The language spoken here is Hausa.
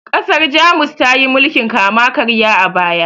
ƘasarJamus tayi mulkin kama karya a baya